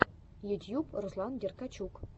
ютьюб руслан деркачук